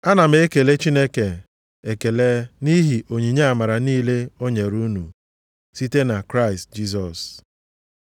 Ana m ekele Chineke ekele nʼihi onyinye amara niile o nyere unu site na Kraịst Jisọs.